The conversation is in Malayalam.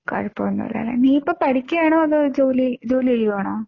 കുഴപ്പോന്നും ഇല്ലാ ലെ. നീ ഇപ്പോ പഠിക്കാണോ അതോ ജോലി ചെയ്യുകയാണോ?